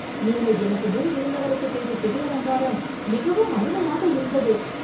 நீங்கள் எனக்கு முன் இருந்தவருக்குச் செய்த சிகை அலங்காரம் மிகவும் அருமையாக இருந்தது